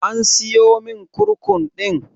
An siyomin kurkum ɗin?